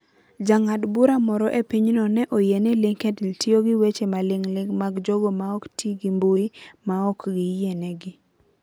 Jang'ad bura moro e pinyno ne oyie ni LinkedIn tiyo gi weche maling'ling ' mag jogo maok ti gi mbui, maok giyienegi.